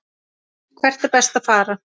Hvert er best að fara?